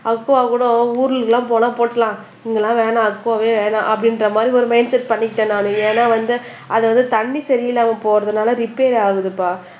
அக்குவாகூட ஊருக்கெல்லாம் போனா போட்டுடலாம் இங்க எல்லாம் வேண்டாம் அக்குவாவே வேண்டாம் அப்படின்ற மாதிரி ஒரு மைண்ட் செட் பண்ணிக்கிட்டேன் நான் ஏன்னா வந்து அதை வந்து தண்ணி சரி இல்லாம போறதுனால ரிப்பேர் ஆகுதுப்பா